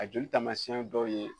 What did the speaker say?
A joli taamasiyɛn dɔw ye